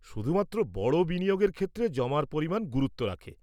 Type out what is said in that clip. শুধুমাত্র বড় বিনিয়োগের ক্ষেত্রে জমার পরিমাণ গুরুত্ব রাখে।